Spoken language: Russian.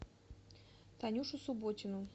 танюшу субботину